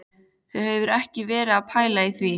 Þú hefur ekki verið að pæla í því?